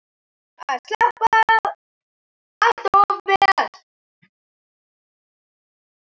Þú sleppur allt of vel.